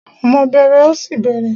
Ọmọ bẹẹrẹ, ọ̀ṣì bẹẹrẹ.